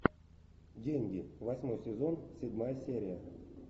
деньги восьмой сезон седьмая серия